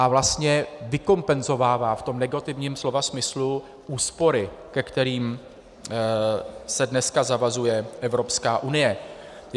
A vlastně vykompenzovává v tom negativním slova smyslu úspory, ke kterým se dneska zavazuje Evropská unie.